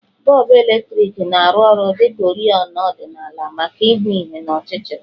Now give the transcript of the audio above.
Bọlbụ eletriki na-arụ ọrụ dị ka oriọna ọdịnala maka ịhụ ihe n'ọchịchịrị